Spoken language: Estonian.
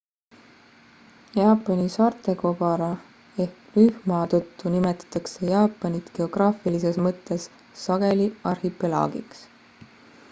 jaapani saartekobara/-rühma tõttu nimetatakse jaapanit geograafilises mõttes sageli arhipelaagiks